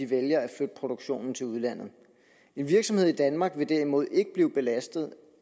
vælger at flytte produktionen til udlandet en virksomhed i danmark vil derimod ikke blive belastet